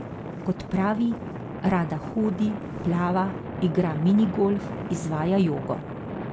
Kot pravi, rada hodi, plava, igra mini golf, izvaja jogo.